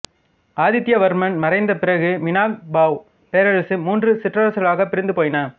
ஆதித்யவர்மன் மறைந்த பிறகு மினாங்கபாவ் பேரரசு மூன்று சிற்றரசுகளாகப் பிரிந்து போயின